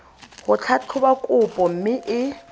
go tlhatlhoba kopo mme e